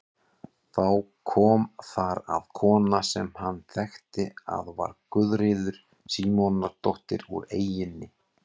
Þá kom þar að kona sem hann þekkti að var Guðríður Símonardóttir úr eyjunni.